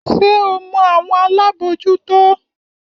Ṣé o mọ àwọn alábòójútó?